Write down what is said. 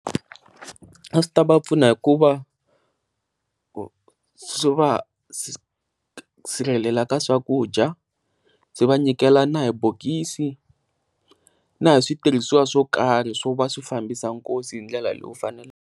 A swi ta va pfuna hikuva swi va sirhelela ka swakudya swi va nyikela na hi bokisi na hi switirhiswa swo karhi swo va swi fambisana nkosi hi ndlela lowu faneleke.